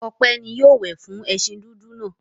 Ope ni yóò wẹ̀ fún ẹṣin dúdú náà.